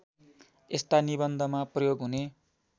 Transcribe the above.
यस्ता निबन्धमा प्रयोग हुने